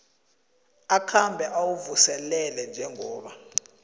akhange uwuvuselele njengoba